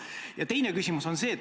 Ja teine küsimus on see.